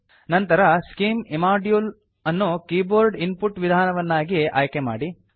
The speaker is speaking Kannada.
ನಂತರ scim ಇಮ್ಮೋಡ್ಯೂಲ್ ಸ್ಕಿಮ್ ಇಮೋಡ್ಯೂಲ್ ಅನ್ನು ಕೀಬೋರ್ಡ್ ಇನ್ಪುಟ್ ವಿಧಾನವನ್ನಾಗಿ ಆಯ್ಕೆ ಮಾಡಿ